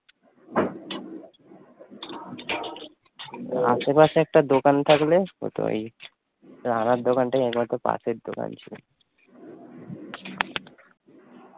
আসে পাশে একটা দোকান থাকলে হতে ই, রানার দোকান টাই একমাত্র পাশের দোকান ছিল